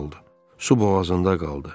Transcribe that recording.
Su boğazında qaldı.